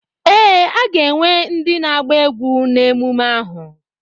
Ee, a ga-enwe ndị na-agba egwú na ememme ahụ.